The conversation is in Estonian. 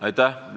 Aitäh!